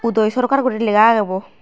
toi sarkar guri laga aagay bow.